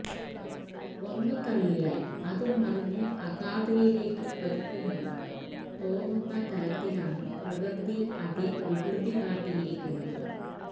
ഒന്നു തള്ളിയാല് അത് മറിഞ്ഞ് അഗാധതയിലേക്ക് പതിക്കുമെന്ന് തോന്നുന്ന തരത്തിലാണ് പ്രകൃതി അതില് വികൃതി കാട്ടിയിരിക്കുന്നത്